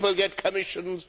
people get commissions